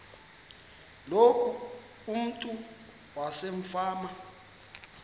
loku umntu wasefama